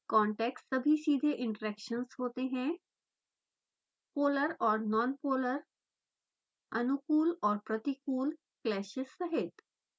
contacts सभी सीधे interactions होते हैं: पोलर और नॉनपोलर अनुकूल और प्रतिकूल clashes सहित